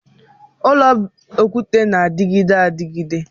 Ụlọ okwute na-adịgide adịgide